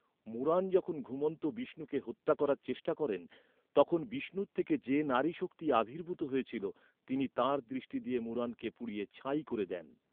মুরান যখন ঘুমন্ত বিষ্ণুকে হত্যা করার চেষ্টা করেন, তখন বিষ্ণুর থেকে যে নারী শক্তি আবির্ভূত হয়েছিল, তিনি তাঁর দৃষ্টি দিয়ে মুরানকে পুড়িয়ে ছাই করে দেন।